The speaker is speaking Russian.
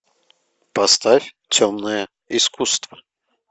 поставь темное искусство